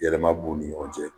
Yɛlɛma b'u ni ɲɔgɔn cɛ